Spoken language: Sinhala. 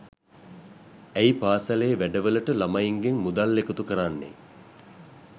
ඇයි පාසලේ වැඩවලට ළමයින්ගෙන් මුදල් එකතු කරන්නේ